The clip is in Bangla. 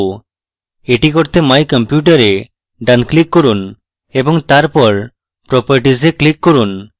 এটি করতে my computer এ ডান click করুন এবং তারপর properties এ click করুন